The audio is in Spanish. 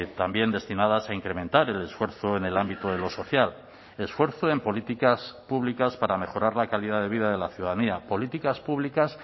también destinadas a incrementar el esfuerzo en el ámbito de lo social esfuerzo en políticas públicas para mejorar la calidad de vida de la ciudadanía políticas públicas